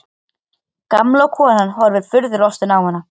Gamla konan horfir furðulostin á hann.